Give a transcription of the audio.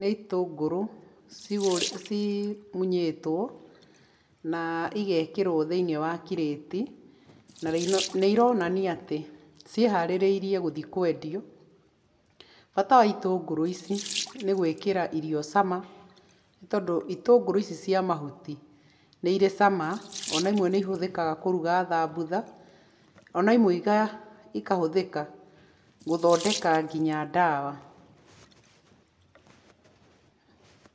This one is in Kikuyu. Nĩ itungũrũ cimunyĩtwo, na igekĩrwo thĩiniĩ wa kirĩti, na nĩ ironania atĩ, ciĩharĩrĩirie gũthiĩ kwendio. Bata wa itũngũrũ ici nĩ gũikĩra irio cama, nĩ tondũ itũngũrũ ici cia mahuti, nĩ irĩ cama ona imwe nĩ ihũthĩkaga kũruga thambutha, ona imwe ikahũthĩka gũthondeka nginya ndawa.